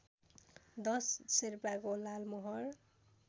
दश शेर्पाको लालमोहर